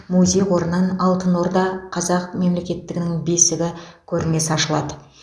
музей қорынан алтын орда қазақ мемлекеттігінің бесігі көрмесі ашылады